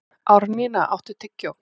Árnína, áttu tyggjó?